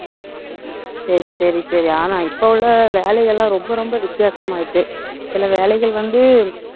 சரி, சரி, சரி. ஆனா, இப்ப உள்ள வேலைகள் எல்லாம் ரொம்ப ரொம்ப வித்தியாசமா ஆயிடுச்சு சில வேலைகள் வந்து